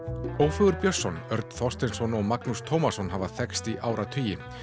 Ófeigur Björnsson Örn Þorsteinsson og Magnús Tómasson hafa þekkst í áratugi